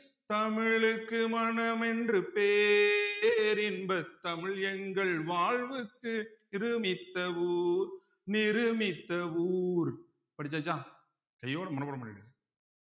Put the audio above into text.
தமிழுக்கு மனமென்று பேரின்ப தமிழ் எங்கள் வாழ்வுக்கு நிருமித்த ஊர் நிருமித்த ஊர் படிச்சாச்சா கையோட மனப்பாடம் பண்ணிடுங்க